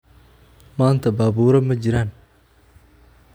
Maanta baabuura ma jiraan